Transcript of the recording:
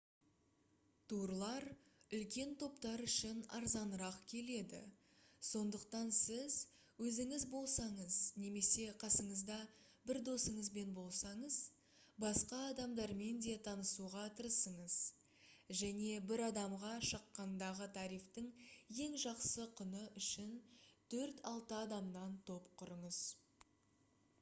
турлар үлкен топтар үшін арзанырақ келеді сондықтан сіз өзіңіз болсаңыз немесе қасыңызда бір досыңызбен болсаңыз басқа адамдармен де танысуға тырысыңыз және бір адамға шаққандағы тарифтің ең жақсы құны үшін төрт-алты адамнан топ құрыңыз